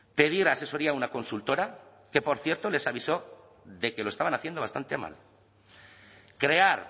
pedir asesoría a una consultora que por cierto les avisó de que lo estaban haciendo bastante mal crear